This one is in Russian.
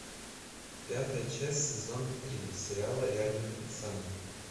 пятая часть сезона три сериала реальные пацаны